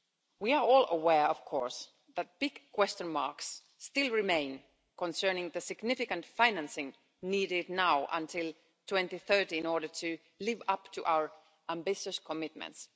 We are all aware, of course, that big question marks still remain concerning the significant financing needed now until 2030 in order to live up to our ambitious commitments.